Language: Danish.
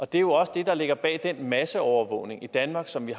det er jo også det der ligger bag den masseovervågning i danmark som vi